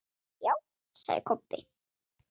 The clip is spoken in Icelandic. Já, sagði Kobbi.